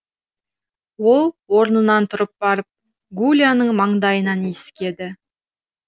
ол орнынан тұрып барып гуляның маңдайынан иіскеді